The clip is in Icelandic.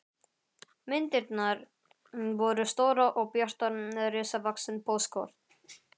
Myndirnar voru stórar og bjartar, risavaxin póstkort.